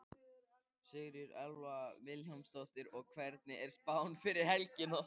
Sigríður Elva Vilhjálmsdóttir: Og hvernig er spáin fyrir helgina?